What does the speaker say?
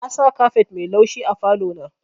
Nasa kafet mai laushi a falo na.